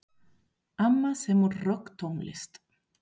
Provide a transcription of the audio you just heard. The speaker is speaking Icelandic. Amma semur rokktónlist.